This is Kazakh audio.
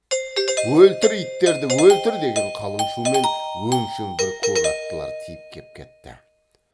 өлтір иттерді өлтір деген қалың шумен өңшең бір көк аттылар тиіп кеп кетті